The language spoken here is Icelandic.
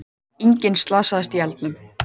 Enginn slasaðist í eldinum